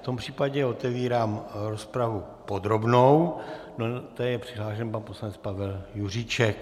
V tom případě otevírám rozpravu podrobnou, do které je přihlášen pan poslanec Pavel Juříček.